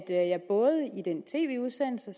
både i den tv udsendelse